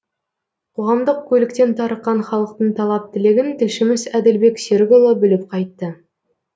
қоғамдық көліктен тарыққан халықтың талап тілегін тілшіміз әділбек серікұлы біліп қайтты